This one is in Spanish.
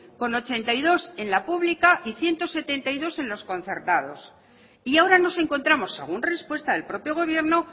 con ochenta y dos en la pública y ciento setenta y dos en los concertados y ahora nos encontramos según respuesta del propio gobierno